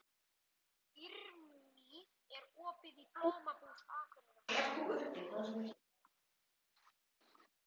Irmý, er opið í Blómabúð Akureyrar?